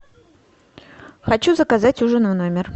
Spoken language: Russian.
хочу заказать ужин в номер